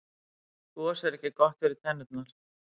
gos er ekki gott fyrir tennurnar